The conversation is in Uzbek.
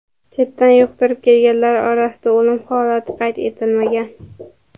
Chetdan yuqtirib kelganlar orasida o‘lim holati qayd etilmagan.